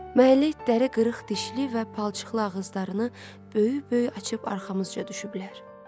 Məhəllə itləri qırıq dişli və palçıqlı ağızlarını böyük-böyük açır, arxamızca düşüblər.